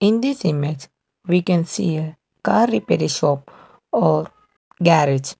in this image we can see a car repair shop or garage.